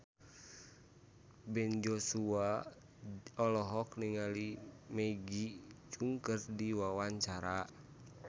Ben Joshua olohok ningali Maggie Cheung keur diwawancara